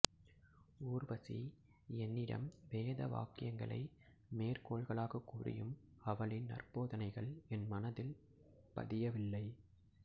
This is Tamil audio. ஊர்வசி என்னிடம் வேத வாக்கியங்களை மேற்கோள்களாக கூறியும் அவளின் நற்போதனைகள் என் மனதில் பதியவில்லை